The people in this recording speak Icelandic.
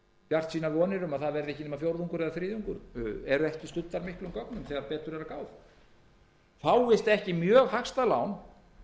bjartsýnar vonir um að það verði ekki nema fjórðungur eða þriðjungur eru ekki studdar miklum gögnum þegar betur er að gáð fáist ekki mjög hagstæð lán